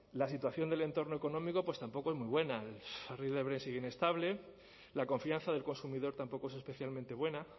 la situación del entorno económico pues tampoco es muy buena el barril de brent sigue inestable la confianza del consumidor tampoco es especialmente buena